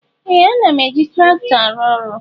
Ee! Ana m eji traktọ arụ ọrụ.